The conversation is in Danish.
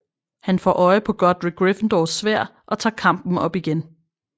Han får øje på Godric Gryffindors Sværd og tager kampen op igen